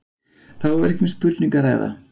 Þá er ekki um spurningu að ræða.